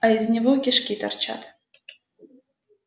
а из него кишки торчат